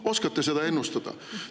Oskate seda ennustada?